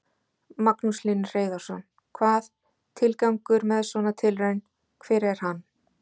Magnús Hlynur Hreiðarsson: Hvað, tilgangur með svona tilraun, hver er hann?